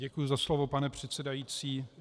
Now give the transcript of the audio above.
Děkuju za slovo, pane předsedající.